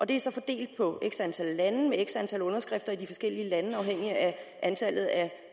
det er så fordelt på x antal lande med x antal underskrifter i de forskellige lande afhængigt af antallet af